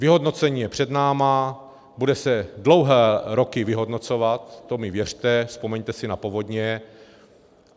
Vyhodnocení je před námi, bude se dlouhé roky vyhodnocovat, to mi věřte, vzpomeňte si na povodně.